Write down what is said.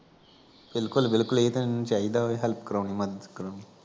ਬਿਲਕੁਲ ਬਿਲਕੁਲ ਏ ਤਾਂ ਏਨਾ ਨੂੰ ਚਾਈਦਾ ਵੀ help ਕਰਾਉਣੀ ਮੱਦਦ ਕਰਾਉਣੀ